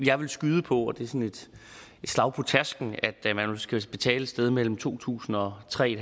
jeg vil skyde på som et slag på tasken at man skal betale et sted mellem to tusind og tre